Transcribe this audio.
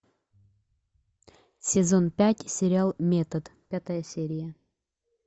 сезон пять сериал метод пятая серия